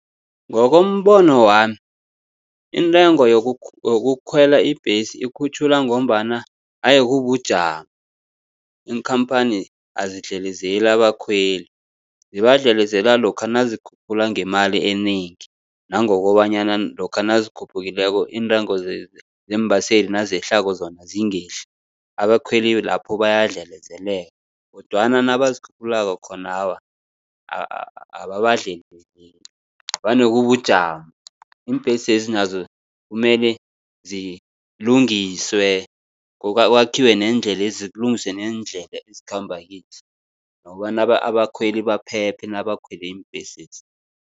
Ngokombono wami intengo yokukhwela ibhesi ikhutjhulwa ngombana haye kubujamo. Iinkhamphani azidlelezeli abakhweli, zibadlelezela lokha nazikhuphula ngemali enengi nangokobanyana lokha nazikhuphukileko, iintengo zeembaseli nazehlako zona zingehli, abakhweli lapho bayadlelezeleka. Kodwana nabazikhuphulako khona awa ababadlelezeli vane kubujamo. Iimbhesezi nazo kumele zilungiswe, kwakhiwe neendlelezi, kulungiswe nendlela ezikhamba kizo. Nokobana abakhweli baphephe nabakhwele iimbhesezi.